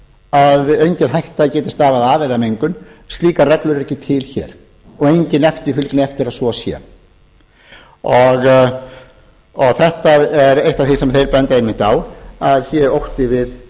að engin hætta geti stafað af eða mengun slíka reglur eru ekki til hér og engin eftirfylgni eftir að svo sé þetta er eitt af því sem þeir benda einmitt á að